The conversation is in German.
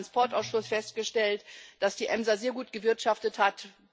Wir haben im Verkehrsausschuss festgestellt, dass die EMSA sehr gut gewirtschaftet hat.